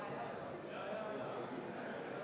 Sedeli saamise kohta annate allkirja.